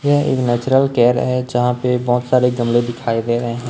यह एक natural care है जहां पे बहोत सारे गमले दिखाई दे रहे हैं।